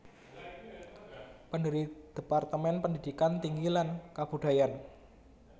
Pendiri Departemen Pendidikan Tinggi lan Kabudayan